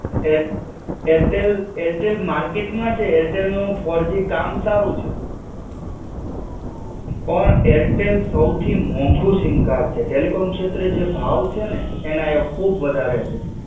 Air Airtel, Airtel market માં છે. એરટેલનું ફૉઉર-જી કામ સારું છે. પણ એરટેલ સૌથી મોંઘુ સિમ કાર્ડ છે, ટેલિકોમ શેત્રે જે ભાવ છે ને એનએ ખુબ વધારે છે.